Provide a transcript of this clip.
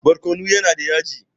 Barkono yana da yaji.